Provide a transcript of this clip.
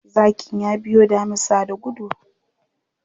Zakin ya biyo damisa da gudu.